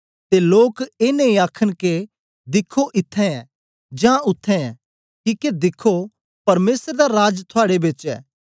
ते लोक ए नेई आखन के दिख्खो इत्त्थैं ऐ जां उत्थें ऐ किके दिख्खो परमेसर दा राज थुआड़े बेच ऐ